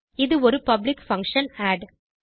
இது ஒரு public function add